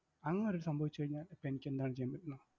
അങ്ങനൊന്നു സംഭവിച്ചുകഴിഞ്ഞാൽ അപ്പൊ എനിക്കെന്താണ് ചെയ്യാൻ പറ്റുന്ന?